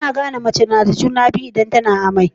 Ana gane mace nada juna biyu idan tAna amai